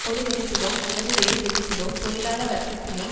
ஒரு விதத்திலோ அல்லது வேறு விதத்திலோ தொழிலாள வர்க்கத்தினை